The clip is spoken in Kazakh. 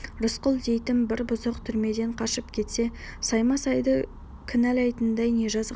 рысқұл дейтін бір бұзық түрмеден қашып кетсе саймасайды кінәлайтындай не жазық бар